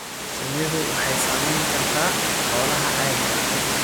Shinnidu waxay saamayn kartaa xoolaha caadiga ah.